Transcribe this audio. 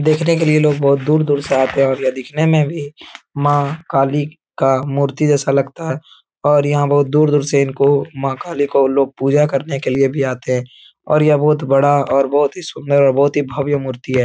देखने के लिए लोग बहुत दूर-दूर से आते हैं और यह दिखने में भी माँ काली का मूर्ति जैसा लगता है और यहाँ बहुत दूर दूर से इनको माँ काली को लोग पूजा करने के लिए भी आते हैं और यह बहुत बड़ा और बहुत ही सुन्दर बहुत ही भव्य मूर्ति है।